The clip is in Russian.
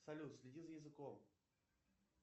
салют следи за языком